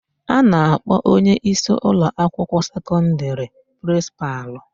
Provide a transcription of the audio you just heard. A na-akpọ onyeisi ụlọakwụkwọ sekọndịrị prịnsịpalụ.